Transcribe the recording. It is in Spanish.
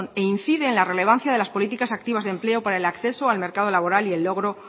e incide en la relevancia de las políticas activas de empleo para el acceso al mercado laboral y el logro